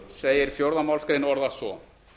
c fjórðu málsgrein orðast svo